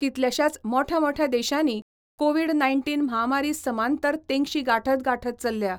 कितल्याशाच मोठ्या मोठ्या देशांनी कोव्हीड नाय्नटीन म्हामारी समांतर तेंगशी गाठत गाठत चल्ल्या.